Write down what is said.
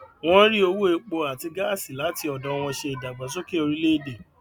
wọn ń rí owó epo àti gáàsí láti ọdọ wọn ṣe ìdàgbàsókè orílẹèdè